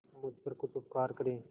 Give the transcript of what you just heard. मुझ पर कुछ उपकार करें